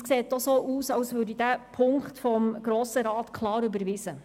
Es sieht ganz danach aus, als würde dieser Punkt auch klar vom Grossen Rat überwiesen.